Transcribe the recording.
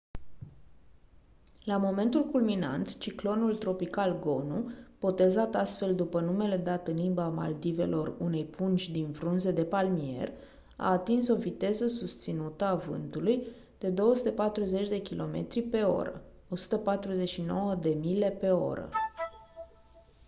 la momentul culminant ciclonul tropical gonu botezat astfel după numele dat în limba maldivelor unei pungi din frunze de palmier a atins o viteză susținută a vântului de 240 de kilometri pe oră 149 de mile pe oră